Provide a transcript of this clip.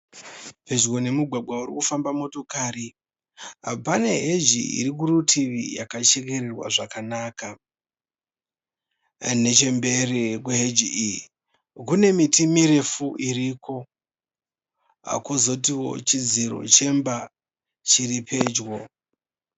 Pedyo nemugwagwa urikufamba motokari. Pane heji irikurutivi yakachekererwa zvakanaka. Nechemberi kweheji iyi kune miti mirefu iripo. Kozotiwo chidziro chemba chiripedyo.